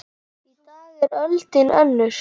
Í dag er öldin önnur.